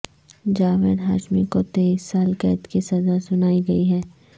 جاوید ہاشمی کو تئیس سال قید کی سزا سنائی گئی ہے